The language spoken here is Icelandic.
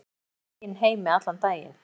Ég var í mínum eigin heimi allan daginn.